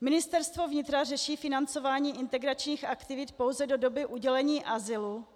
Ministerstvo vnitra řeší financování integračních aktivit pouze do doby udělení azylu